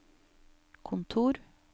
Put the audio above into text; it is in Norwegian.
kontor